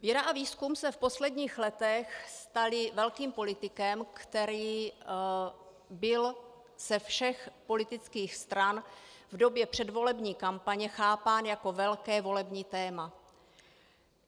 Věda a výzkum se v posledních letech staly velkým politikem, které bylo ze všech politických stran v době předvolební kampaně chápáno jako velké volební téma.